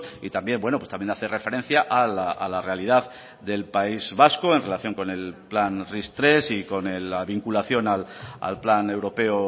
y también bueno pues también hace referencia a la realidad del país vasco con el plan ris tres y con la vinculación al plan europeo